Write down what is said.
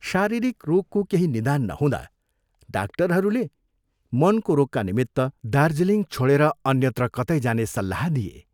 शारीरिक रोगको केही निदान नहुँदा डाक्टरहरूले मनको रोगका निमित्त दार्जीलिङ छोडे अन्यत्र कतै जाने सल्लाह दिए।